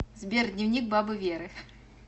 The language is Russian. сбер дневник бабы веры